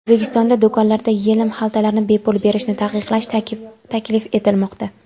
O‘zbekistonda do‘konlarda yelim xaltalarni bepul berishni taqiqlash taklif etilmoqda.